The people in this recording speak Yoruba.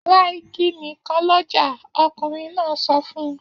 Ra igi nìkan lọ́jà! Ọkùnrin náà sọ fún un.